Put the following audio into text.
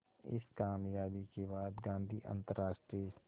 इस क़ामयाबी के बाद गांधी अंतरराष्ट्रीय स्तर